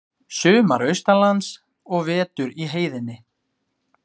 Sumar austanlands og vetur í heiðinni.